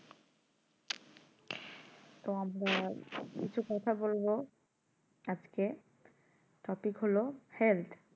তো আমরা একটা কথা বলবো আজকে topic হলো health